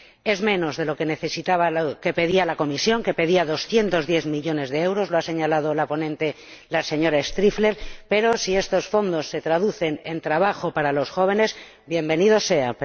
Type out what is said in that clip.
Es menos de lo que pedía la Comisión, que pedía 210 millones de euros ―lo ha señalado la ponente, la señora Striffler―, pero si estos fondos se traducen en trabajo para los jóvenes ¡bienvenidos sean!